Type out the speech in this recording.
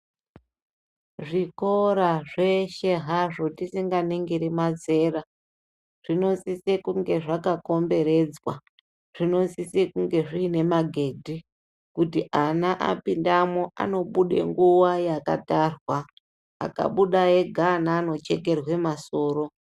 Zvikora zveshe hazvo tisinganingiri mazera zvinosisa kunge zvakakomberedzwa zvinosisa kunge zvine magedhi kuti ana apindamo anoda kuti zvibude nguwa yakatarwa pakabuda ega ana anochekerwa masoro.